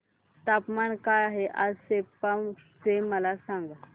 तापमान काय आहे आज सेप्पा चे मला सांगा